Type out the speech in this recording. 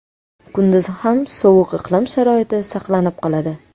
Kunduzi ham sovuq iqlim sharoiti saqlanib qoladi.